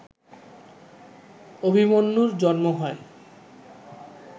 অভিমন্যুর জন্ম হয়